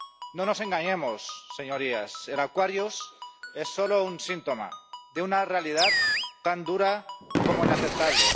No nos engañemos, señorías, el Aquarius es solo un síntoma de una realidad tan dura como inaceptable.